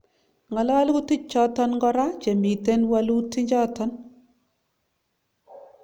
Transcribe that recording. ngalalutik choton kora chemitenwaluti choton